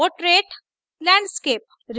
portrait portrait landscape landscape